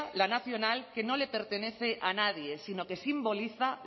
la nacional que no le pertenece a nadie sino que simboliza